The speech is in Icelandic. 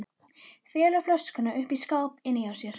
Felur flöskuna uppi í skáp inni hjá sér.